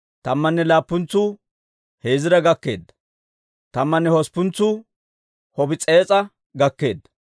Tammanne laappuntsuu Heziira gakkeedda. Tammanne hosppuntsuu Happis'ees'a gakkeedda.